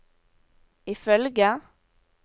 ifølge